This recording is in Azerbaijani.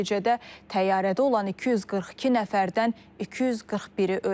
Nəticədə təyyarədə olan 242 nəfərdən 241-i ölüb.